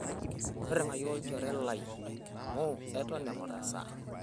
intirring'ayu olchoree lai amuuu eton eng'orr esaa